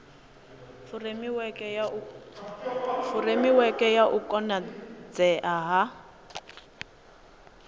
furemiweke ya u konadzea ha